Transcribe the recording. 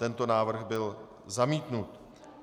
Tento návrh byl zamítnut.